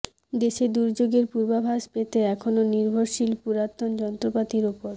দেশে দুর্যোগের পূর্বাভাস পেতে এখনো নির্ভরশীল পুরাতন যন্ত্রপাতির ওপর